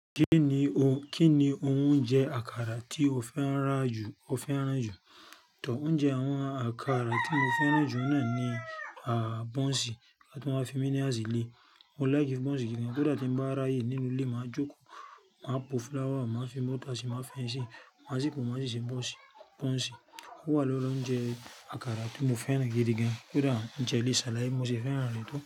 Kí ni ohun, kín ni ohun ounjẹ àkàrà tí o fẹ́ ra ju, o fẹ́ràn jù? Tọ́ ọ́unjẹ àwọn àkàrà tí mo fẹ́ràn jù náà ni, à, bọ́ǹsì, o tun wa fi mí nírasi lé. Mo like bọ́ǹsì gidi gan. Kódà tí ń bá ráyè nínú ilé máa jókòó, máa po flour, máa fi bọ́tà sí, máa ẹyín sí, máa ṣí pọ̀, máa ṣí ṣe bọ́ǹsì, bọ́ǹsì. Wá ló lọ jẹ àkàrà tí mo fẹ́ràn gidi gan. Kódà jẹ ilé ṣáláìsí mo sì fẹ́ràn rẹ̀ tọ́